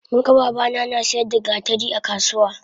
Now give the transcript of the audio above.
Munga babana nasiyar da gatari akasuwa